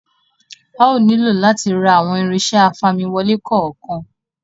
A ó nílò owó láti ra àwọn irinṣẹ́ afamiwole kọ̀ọ̀kan